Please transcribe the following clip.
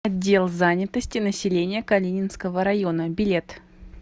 отдел занятости населения калининского района билет